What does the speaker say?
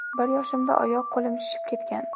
Bir yoshimda oyoq-qo‘lim shishib ketgan.